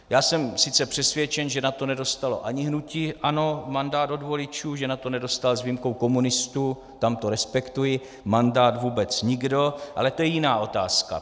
Já jsem sice přesvědčen, že na to nedostalo ani hnutí ANO mandát od voličů, že na to nedostal s výjimkou komunistů, tam to respektuji, mandát vůbec nikdo, ale to je jiná otázka.